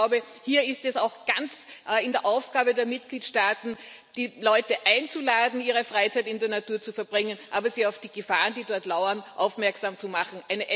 Das heißt, ich glaube, hier ist es auch ganz in der Verantwortung der Mitgliedstaaten, die Leute einzuladen, ihre Freizeit in der Natur zu verbringen, aber sie auf die Gefahren, die dort lauern, aufmerksam zu machen.